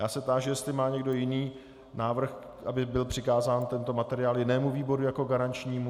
Já se táži, jestli má někdo jiný návrh, aby byl přikázán tento materiál jinému výboru jako garančnímu.